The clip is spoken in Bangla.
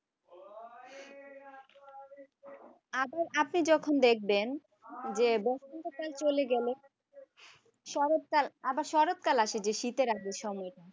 আবার আপনি যখন দেখবেন যে বসন্তকাল চলে গেল শরৎকাল আবার শরৎকাল আসে যে শীতের আগে সময়ে